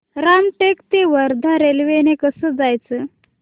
रामटेक ते वर्धा रेल्वे ने कसं जायचं